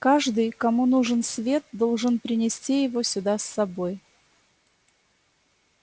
каждый кому нужен свет должен принести его сюда с собой